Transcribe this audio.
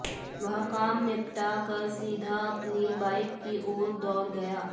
वह काम निपटा कर सीधा अपनी बाइक की और दौड़ गया